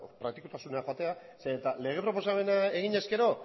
praktikotasunera joatea zeren eta lege proposamena egin ezkero